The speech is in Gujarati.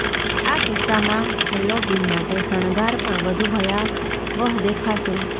આ કિસ્સામાં હેલોવીન માટે શણગાર પણ વધુ ભયાવહ દેખાશે